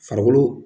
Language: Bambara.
Farikolo